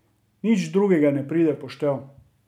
Nič drugega ne pride v poštev.